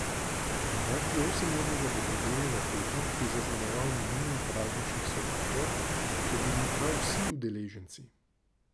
Junaki osemurnega dobrodelnega teka, ki je zaznamoval minulo praznično soboto, so bili prav vsi udeleženci.